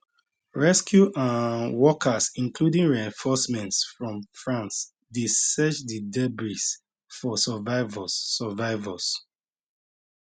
rescue um workers including reinforcements from france dey search di debris for survivors survivors